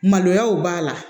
Maloyaw b'a la